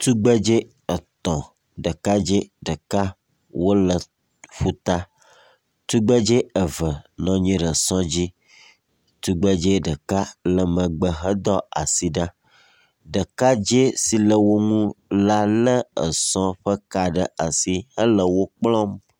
Tugbedzɛ etɔ̃, ɖekadzɛ ɖeka wole ƒuta. Tugbedze eve nɔ anyi ɖe sɔ dzi. Tugbedzɛ ɖeka le megbe hedo asi ɖa. Ɖekadzɛ si le wo ŋu la lé sɔa ƒe ka ɖe asi hele wo kplɔm.